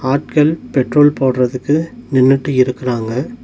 ஆட்கள் பெட்ரோல் போடறதுக்கு நின்னுட்டு இருக்குறாங்க.